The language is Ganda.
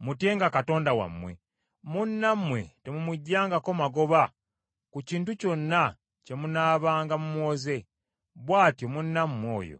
Mutyenga Katonda wammwe. Munnammwe temumuggyangako magoba ku kintu kyonna kye munaabanga mumuwoze, bw’atyo munnammwe oyo